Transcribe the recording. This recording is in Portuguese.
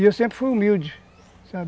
E eu sempre fui humilde, sabe?